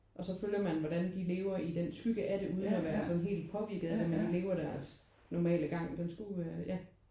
Og så følger man hvordan de lever i den skygge af det uden at være sådan helt påvirket af det med de lever deres normale gang. Den skulle være ja